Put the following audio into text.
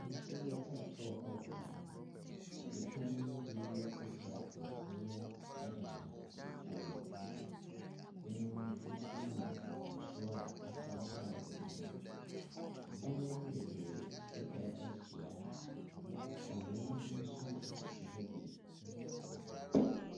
Nsuo retɔ wɔ ha. Nnipa no mu bi kurakura nkyiniiɛ de nenam nsuo no mu. Binom nso nam nsuo a atɔ ataa hɔ no mu. Adan bebree atwa ahyia ha. Nnua nso sisi ha bo.